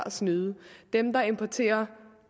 at snyde dem der importerer